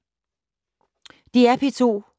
DR P2